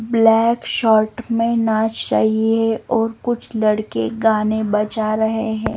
Black short में नाच रही है और कुछ लड़के गाने बजा रहे हैं।